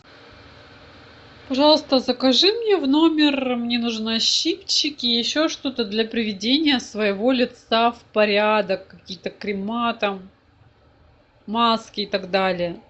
пожалуйста закажи мне в номер мне нужны щипчики и еще что то для приведения своего лица в порядок какие то крема там маски и так далее